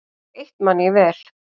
Eitt man ég vel.